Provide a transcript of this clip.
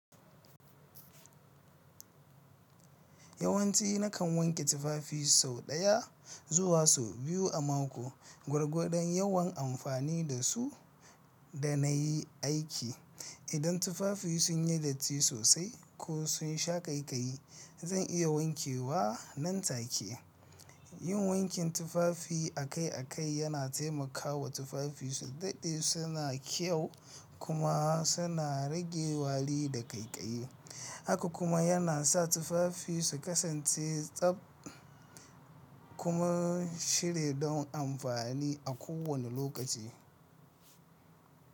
Yawanci na kan wanke tufafi sau ɗaya zuwa sau biyu a mako. Gwargwadon yawan amfani da su da na yi aiki. Idan tufafi sun yi datti sosai ko sun sha ƙaiƙayi, zan iya wankewa nan take. Yin wankin tufafi akai-akai yana taimakawa tufafi su daɗe suna kyau kuma suna rage wari da ƙaiƙayi. Haka kuma yana sa tufafi su kasance tsab kuma shiri don amfani a kowane lokaci.